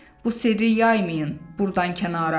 Bu sirri yaymayın burdan kənara.